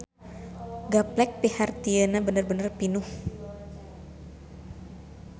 Gaplek pihartieuna bener-bener pinuh.